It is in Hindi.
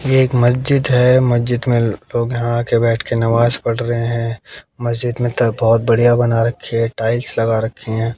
ये एक मस्जिद है मस्जिद में लोग यहां आकर बैठ के नमाज पढ़ रहे हैं मस्जिद में तलतोत बहुत बढ़िया रखी है टाइल्स लगा रखी है।